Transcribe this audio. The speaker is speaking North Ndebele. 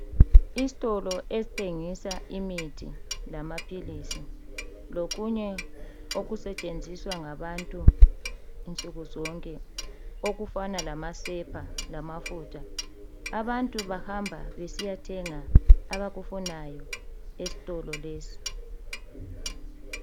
Isitolo esithengisa imithi lamaphilisi lokunye okusetshenziswa ngabantu nsukuzonke okufana lamasepa lamafutha. Abantu bahamba besiyethenga abakufunayo esitolo lesi.